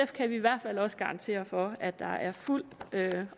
kan vi i hvert fald også garantere for at der er fuld